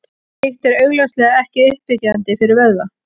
Slíkt er augljóslega ekki uppbyggjandi fyrir vöðva.